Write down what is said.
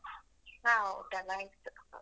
ಹಾ ಊಟಯೆಲ್ಲ ಆಯ್ತು.